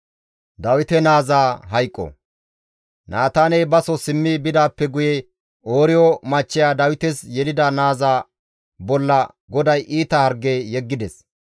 Naataaney baso simmi bidaappe guye Ooriyo machcheya Dawites yelida naaza bolla GODAY iita harge yeggides.